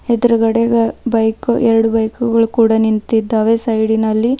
ಎಡ್ರುಗಡೆಗ bike ಎರಡು ಬೈಕುಗುಳ್ ಕೂಡ ನಿಂತಿದ್ದಾವೆ ಸೈಡಿನಲ್ಲಿ.